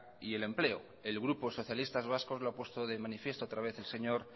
y el empleo el grupo socialistas vascos lo ha puesto de manifiesto otra vez el señor